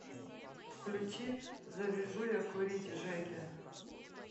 включи завяжу я курить жеки